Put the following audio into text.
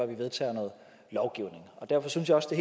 vi vedtager noget lovgivning derfor synes jeg også det